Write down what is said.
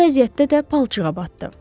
Bu vəziyyətdə də palçığa batdı.